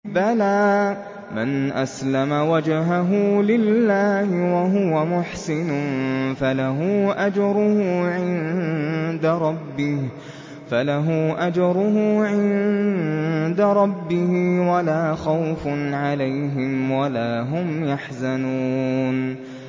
بَلَىٰ مَنْ أَسْلَمَ وَجْهَهُ لِلَّهِ وَهُوَ مُحْسِنٌ فَلَهُ أَجْرُهُ عِندَ رَبِّهِ وَلَا خَوْفٌ عَلَيْهِمْ وَلَا هُمْ يَحْزَنُونَ